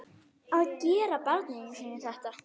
Að gera barninu sínu þetta!